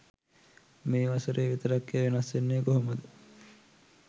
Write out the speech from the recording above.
මේ වසරේ විතරක් එය වෙනස් වෙන්නේ කොහොමද?